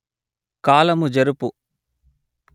కాలము జరుపు